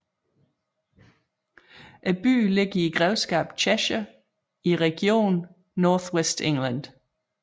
Byen ligger i grevskabet Cheshire i regionen North West England